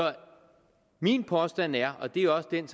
min påstand er det er også den